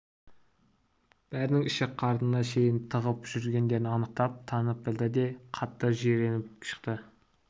бәрінің ішек-қарнына шейін тығып жүргендерін анықтап танып білді де қатты жиреніп шықты